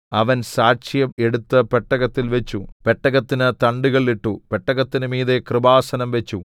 അവൻ സാക്ഷ്യം എടുത്ത് പെട്ടകത്തിൽ വച്ചു പെട്ടകത്തിന് തണ്ടുകൾ ഇട്ടു പെട്ടകത്തിന് മീതെ കൃപാസനം വച്ചു